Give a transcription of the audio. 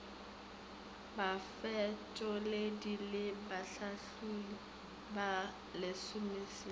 bafetoledi le bahlatholli ba lesomesenyane